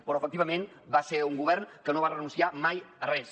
però efectivament va ser un govern que no va renunciar mai a res